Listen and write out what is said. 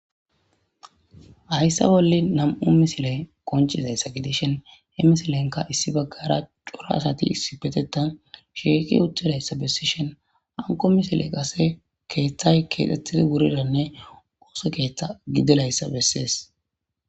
Haysa bolla nam'u misiley qoncizaysa gidishn he misilenka issi bagara cora asati issipetetan shiiq utidaysa besishn hanko misiley qase keethay kethetid wuridanne wosa keetha gididaysa beses.